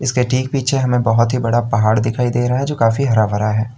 इसके ठीक पीछे हमें बहोत ही बड़ा पहाड़ दिखाई दे रहा है जो काफी हरा भरा है।